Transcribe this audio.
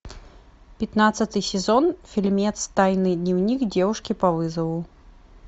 пятнадцатый сезон фильмец тайный дневник девушки по вызову